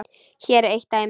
Hér er eitt dæmi.